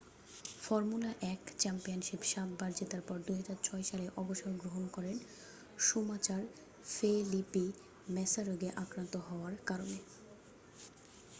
formula 1 championship সাতবার জেতার পর 2006 সালে অবসর গ্রহণ করেন শুমাচার ফেলিপি ম্যাসা রোগে আক্রান্ত হওয়ার কারণে